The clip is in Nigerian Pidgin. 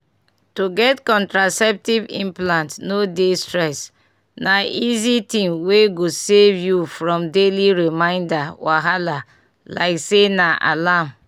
to get contraceptive implant no dey stress na easy thing wey go save you from daily reminder wahala like say na alarm.